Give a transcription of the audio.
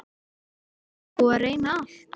Það er búið að reyna allt.